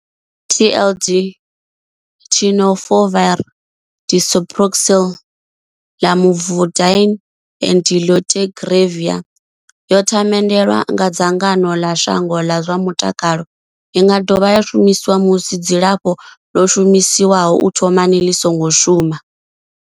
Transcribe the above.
TLD Tenofovir disoproxil, Lamivudine and dolutegravir yo themendelwa nga dzangano ḽa shango ḽa zwa mutakalo. I nga dovha ya shumiswa musi dzilafho ḽo shumiswaho u thomani ḽi songo shuma.